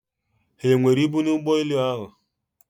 ha e nwere ibu na ụgbọelu ahụ?